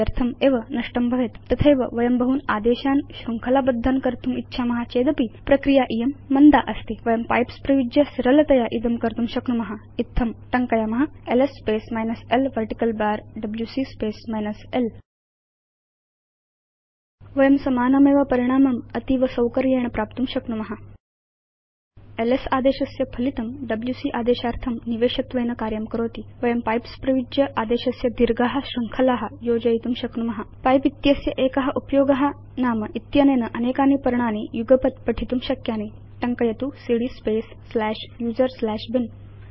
व्यर्थम् एव नष्टं भवेत् तथैव वयं बहून् आदेशान् शृङ्खला बद्धान् कर्तुम् इच्छाम चेदपि प्रक्रिया इयं मन्दा अस्ति वयं पाइप्स उपयुज्य सरलतया इदं कर्तुं शक्नुम इत्थंटङ्कयाम LS space minus l vertical bar WC space minus l वयं समानमेव परिणामम् अतीव सौकर्येण प्राप्तुं शक्नुम एलएस आदेशस्य फलितं डब्ल्यूसी आदेशार्थं निवेशत्वेन कार्यं करोति वयं पाइप्स उपयुज्य आदेशस्य दीर्घा शृङ्खला योजयितुं शक्नुम पिपे इत्यस्य एक उपयोग नाम इत्यनेन अनेकानि पर्णानि युगपत् पठितुं शक्यानि टङ्कयतु cd space slash user slash bin